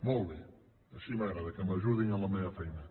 molt bé així m’agrada que m’ajudin en la meva feina